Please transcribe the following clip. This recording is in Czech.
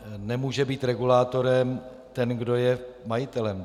Nemůže být regulátorem ten, kdo je majitelem.